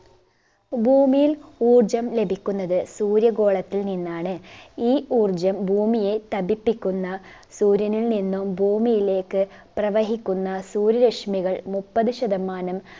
ഭൂമിയിൽ ഊർജ്ജം ലഭിക്കുന്നത് സൂര്യഗോളത്തിൽ നിന്നാണ് ഈ ഊർജ്ജം ഭൂമിയെ തപിപ്പിക്കുന്ന സൂര്യനിൽ നിന്നും ഭൂമിയിലേക്ക് പ്രവഹിക്കുന്ന സൂര്യരശ്മികൾ മുപ്പത് ശതമാനം